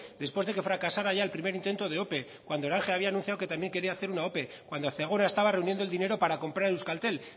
después de que fracasara el primer intento de ope cuando orange había anunciado que también quería hacer una ope cuando zegona estaba reuniendo el dinero para comprar euskaltel